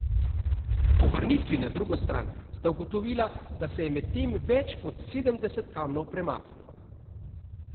Po vrnitvi na drugo stran sta ugotovila, da se je medtem več kot sedemdeset kamnov premaknilo.